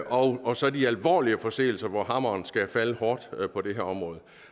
og og så de alvorlige forseelser hvor hammeren skal falde hårdt på det her område